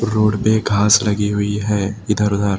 Road पे घास लगी हुई है इधर उधर।